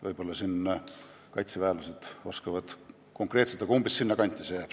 Võib-olla kaitseväelased oskavad konkreetselt öelda, aga sinna kanti see jääb.